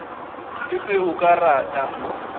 le ge o ka rata